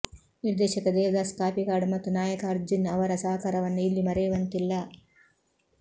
ನಿರ್ದೇಶಕ ದೇವದಾಸ್ ಕಾಪಿಕಾಡ್ ಮತ್ತು ನಾಯಕ ಅರ್ಜುನ್ ಅವರ ಸಹಕಾರವನ್ನು ಇಲ್ಲಿ ಮರೆಯುವಂತಿಲ್ಲ